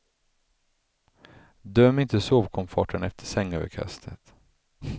Döm inte sovkomforten efter sängöverkastet.